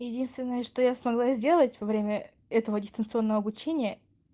единственное что я смогла сделать во время этого дистанционного обучения